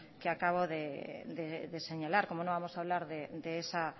que acabo de señalar cómo no vamos a hablar de esa